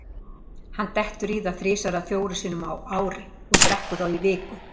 Hann dettur í það þrisvar eða fjórum sinnum á ári og drekkur þá í viku.